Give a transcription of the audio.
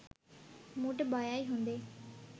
මූට බයයි හොදේ.